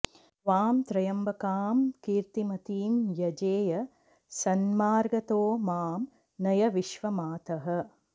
त्वां त्र्यम्बकां कीर्तिमतीं यजेय सन्मार्गतो मां नय विश्वमातः